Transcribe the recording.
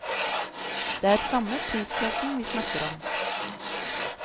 Det er samme prisklassen vi snakker om.